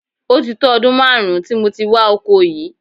Ó ti tó ọdún máàrún tí mo ti wà oko yìí